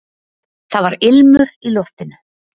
Það var ilmur í loftinu!